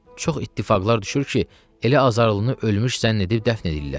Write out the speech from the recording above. Çox ittifaqlar düşür ki, elə azarlını ölmüş zənn edib dəfn edirlər.